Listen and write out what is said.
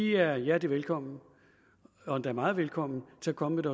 er hjertelig velkommen og endda meget hjertelig velkommen til at komme med